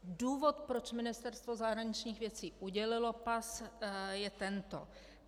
Důvod, proč Ministerstvo zahraničních věcí udělilo pas, je tento.